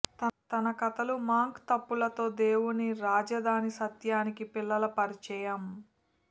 తన కథలు మాంక్ తప్పులతో దేవుని రాజధాని సత్యానికి పిల్లలు పరిచయం